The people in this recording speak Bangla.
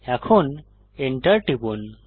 এখন Enter টিপুন